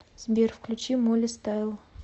сбер включи молли стайл